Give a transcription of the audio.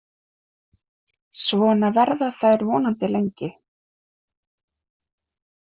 Svona verða þær vonandi lengi.